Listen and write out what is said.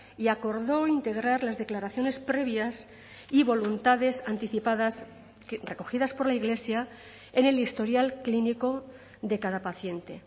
y acordó integrar las declaraciones previas y voluntades anticipadas recogidas por la iglesia en el historial clínico de cada paciente